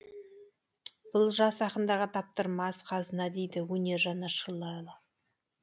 бұл жас ақындарға таптырмас қазына дейді өнер жанашырлары